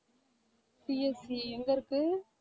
CSC எங்க இருக்கு?